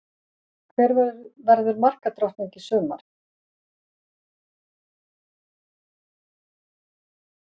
Hver verður markadrottning í sumar?